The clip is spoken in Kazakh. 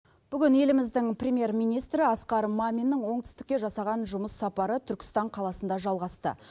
бүгін еліміздің премьер министрі асқар маминнің оңтүстікке жасаған жұмыс сапары түркістан қаласында жалғасты